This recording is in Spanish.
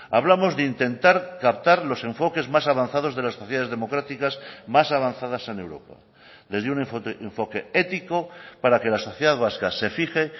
hablamos de intentar captar los enfoques más avanzados de las sociedades democráticas más avanzadas en europa desde un enfoque ético para que la sociedad vasca se fije